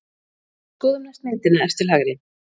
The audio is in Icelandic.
Skoðum næst myndina efst til hægri.